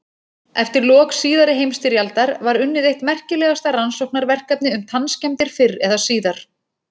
Eftir lok síðari heimsstyrjaldar var unnið eitt merkilegasta rannsóknarverkefni um tannskemmdir fyrr eða síðar.